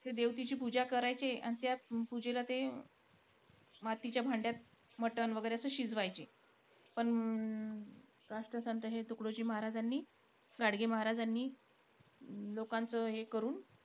देवतेची पूजा करायचे आणि त्याचं पूजेला ते मातीच्या भांड्यात मटण वैगरे असं शिजवायचे. पण अं राष्ट्रसंत हे तुकडोजी महाराजांनी, गाडगे महाराजांनी लोकांचं हे करून,